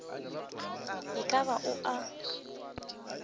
e ka ba o a